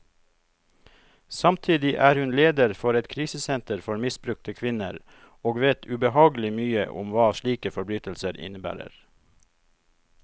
Samtidig er hun leder for et krisesenter for misbrukte kvinner, og vet ubehagelig mye om hva slike forbrytelser innebærer.